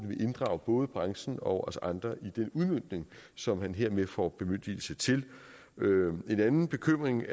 vil inddrage både branchen og os andre i den udmøntning som han hermed får bemyndigelse til en anden bekymring